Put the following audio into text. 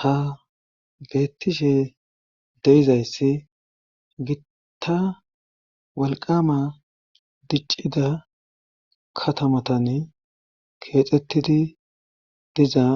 ha beettishe deizayssi gita walqama diccida katamatan keexettidi dizaa